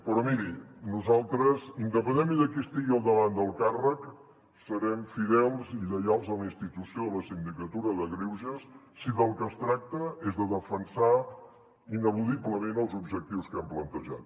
però miri nosaltres independentment de qui estigui al davant del càrrec serem fidels i lleials a la institució de la sindicatura de greuges si del que es tracta és de defensar ineludiblement els objectius que hem plantejat